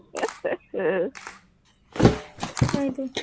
আহ এইটো